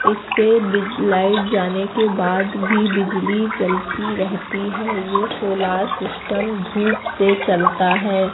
इससे बी लाइट जाने के बाद भी बिजली चलती रहती है ये सोलार सिस्टम धूप से चलता है।